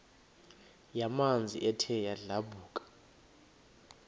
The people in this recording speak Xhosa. yamanzi ethe yadlabhuka